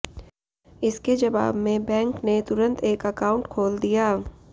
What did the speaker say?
इसके जवाब में बैंक ने तुरंत एक अकाउंट खोल दिया